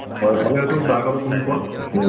হয় ভালে আছো চাহ খালো তুমি কোৱা উম